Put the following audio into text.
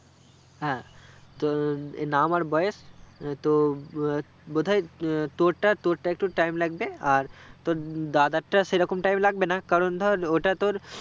হ্যাঁ তো এই নাম বয়েস তো ববোদায় আহ তোরটা তোরটা একটু টাইম লাগবে আর তোর দাদারটা সেরকম টাইম লাগবে না কারণ ধরে ওটা তোর